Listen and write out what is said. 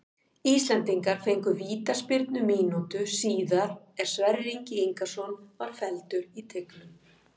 Íslendingar fengu vítaspyrnu mínútu síðar er Sverrir Ingi Ingason var felldur í teignum.